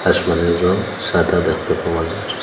আসমানের রং সাদা দেখতে পাওয়া যার।